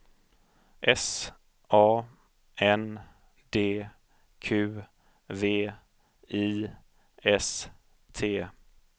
S A N D Q V I S T